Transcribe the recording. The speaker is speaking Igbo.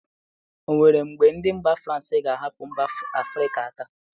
O nwe mgbe ndị mba frans ga-ahapụ mba afịrịka aka?